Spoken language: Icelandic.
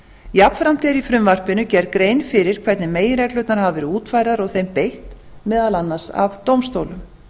jafnframt er í frumvarpinu gerð grein fyrir hvernig meginreglurnar hafa verið útfærðar og þeim beitt meðal annars af dómstólum